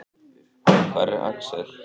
Hvar er Axel?